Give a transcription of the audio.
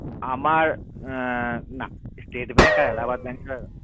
আমার না state bank আর Allahabad bank এ